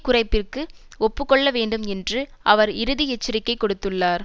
குறைப்பிற்கு ஒப்பு கொள்ள வேண்டும் என்று அவர் இறுதி எச்சரிக்கை கொடுத்துள்ளார்